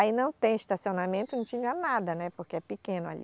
Aí não tem estacionamento, não tinha nada, né, porque é pequeno ali.